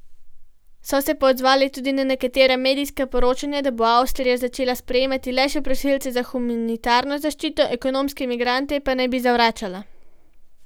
So se pa odzvali tudi na nekatera medijska poročanja, da bo Avstrija začela sprejemati le še prosilce za humanitarno zaščito, ekonomske migrante pa naj bi zavračala.